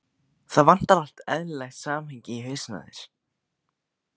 Það vantar allt eðlilegt samhengi í hausinn á þér.